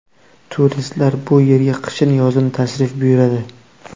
Turistlar bu yerga qishin-yozin tashrif buyuradi.